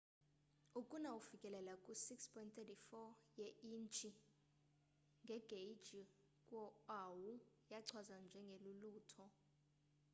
ukuna ofikelela ku 6.34 ye intshi ngegeyji kwo oahu yachazwa njenge lulutho